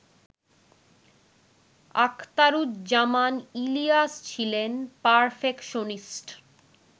আখতারুজ্জামান ইলিয়াস ছিলেন পারফেকশনিস্ট